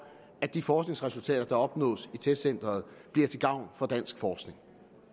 at de forskningsresultater der opnås i testcenteret bliver til gavn for dansk forskning